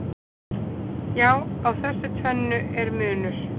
Já, á þessu tvennu er munur.